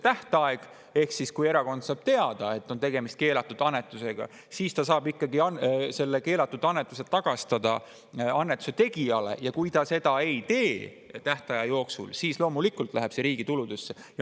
Ehk siis kui erakond saab teada, et tegemist on keelatud annetusega, saab ta selle keelatud annetuse tagastada annetuse tegijale, ja kui ta seda ei tee tähtaja jooksul, siis loomulikult läheb see riigi tuludesse.